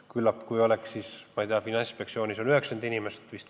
Finantsinspektsioonis on vist tööl 90 inimest.